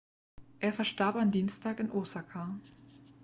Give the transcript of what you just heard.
er verstarb am dienstag in osaka